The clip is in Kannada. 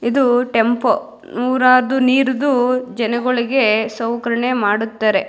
ಇದು ಟೆಂಪೋ ನೊರಾ ನೀರಿಡು ಜನಗಳಿಗೆ ಸೌಕರಣೆ ಮಾಡುತ್ತಾರೆ-